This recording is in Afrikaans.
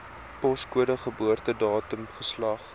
poskode geboortedatum geslag